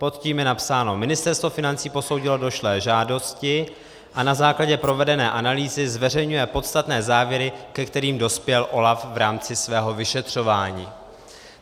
Pod tím je napsáno: Ministerstvo financí posoudilo došlé žádosti a na základě provedené analýzy zveřejňuje podstatné závěry, ke kterým dospěl OLAF v rámci svého vyšetřování.